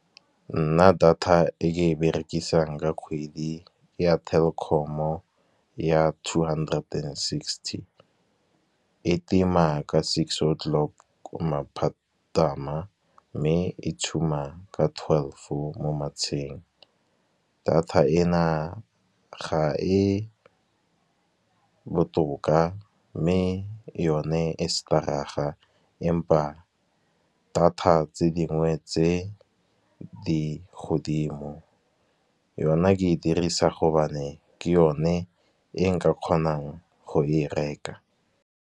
Nna data e ke e berekisang ka kgwedi ya Telkom-o ya two hundred and sixty e tima ka six o clock, maphatam, mme e tshuma ka twelve mo matsheng. Data e na ga e botoka, mme yone e stadaga empa data tse dingwe tse di godimo. Yona ke e dirisa gobane ke yone e nka kgonang go e reka.